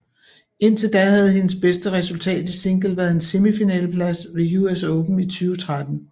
Indtil da havde hendes bedste resultat i single været en semifinaleplads ved US Open i 2013